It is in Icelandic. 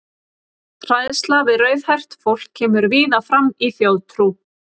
Hræðsla við rauðhært fólk kemur víða fram í þjóðtrú.